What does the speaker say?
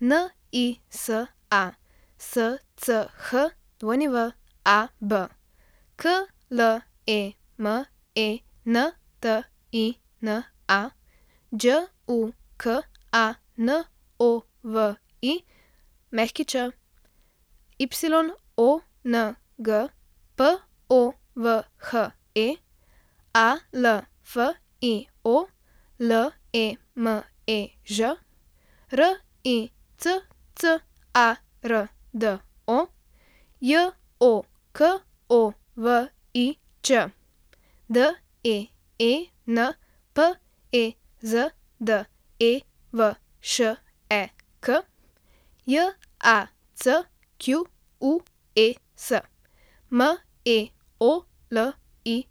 Nisa Schwab, Klementina Đukanović, Yong Povhe, Alfio Lemež, Riccardo Jokovič, Deen Pezdevšek, Jacques Meolic.